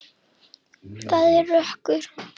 Það er rökkur.